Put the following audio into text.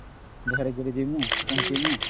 ଧରିକିରି ଜିମୂ ପହଂଚିମୁ